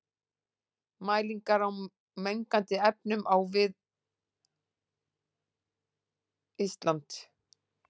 Mælingar á mengandi efnum á og við Ísland.